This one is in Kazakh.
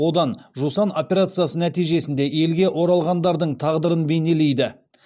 одан жусан операциясы нәтижесінде елге оралғандардың тағдырын бейнелейді